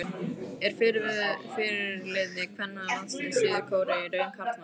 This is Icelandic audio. Er fyrirliði kvennalandsliðs Suður-Kóreu í raun karlmaður?